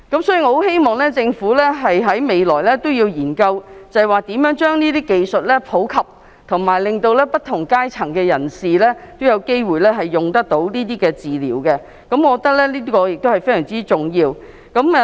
所以，我希望政府日後研究如何將這些技術普及，令不同階層的人都有機會接受這些治療，我覺得這是非常重要的。